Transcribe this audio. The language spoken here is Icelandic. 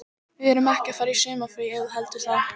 Við erum ekki að fara í sumarfrí ef þú heldur það.